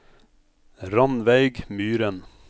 Rannveig Myren